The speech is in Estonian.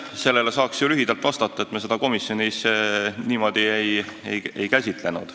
Sellele saaks ju lühidalt vastata, et me seda komisjonis niimoodi ei käsitlenud.